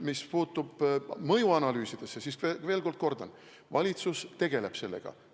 Mis puutub mõjuanalüüsidesse, siis ma veel kord kordan: valitsus tegeleb sellega.